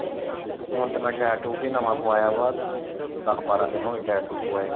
ਹੁਣ ਤੇ ਮੈਂ ਟਾਇਰ ਟਿਊਬ ਵੀ ਨਵਾਂ ਪਵਾਇਆ ਵਾ। ਦੱਸ ਬਾਰਾਂ ਦਿਨ ਹੋਏ ਟਾਇਰ ਟਿਊਬ ਪਵਾਏ ਨੂੰ